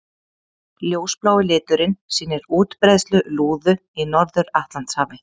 Ljósblái liturinn sýnir útbreiðslu lúðu í Norður-Atlantshafi.